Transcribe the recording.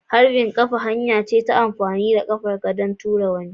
Harbin kafa hanya ce ta amfani da ƙafar ka don tura wani.